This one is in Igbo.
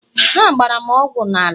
ha gbara m ogwu n'ala..